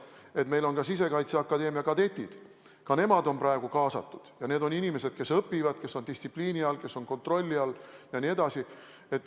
Ja meil on ka Sisekaitseakadeemia kadetid, ka nemad on praegu kaasatud, ja need on inimesed, kes õpivad, kes on distsipliini all, kes on kontrolli all.